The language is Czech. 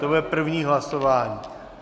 To bude první hlasování.